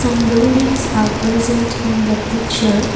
some buildings are present in the picture.